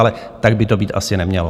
Ale tak by to být asi nemělo.